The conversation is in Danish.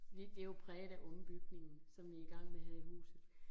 Vi, det jo præget af ombygningen, som vi i gang med her i huset